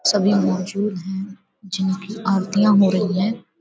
सभी मौजूद हैं जिनकी आरतियाँ हो रहीं हैं ।